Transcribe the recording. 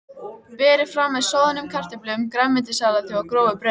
Berið fram með soðnum kartöflum, grænmetissalati og grófu brauði.